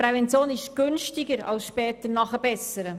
Prävention ist günstiger, als später nachzubessern.